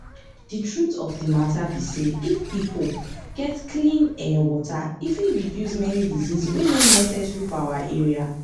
di truth of di matter be say if pipo get clean[um]water e fit reduce many disease wey nor necessary for our area